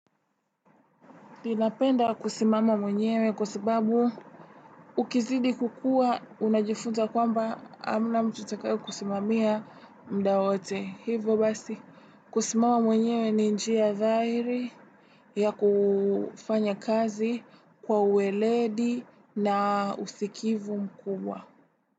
Ninapenda kusimama mwenyewe kwa sababu ukizidi kukua unajifunza kwamba hamna mtu atakaye kusimamia muda wote. Hivo basi kusimama mwenyewe ni njia dhahiri ya kufanya kazi kwa ueledi na usikivu mkubwa.